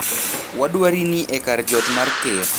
Wadwari ni e kar jot mar Ker.